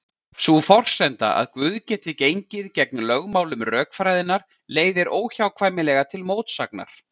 Sú forsenda að Guð geti gengið gegn lögmálum rökfræðinnar leiðir óhjákvæmilega til mótsagnar.